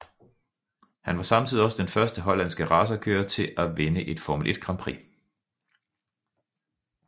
Han var samtidig også den første hollandske racerkører til at vinde et Formel 1 Grand Prix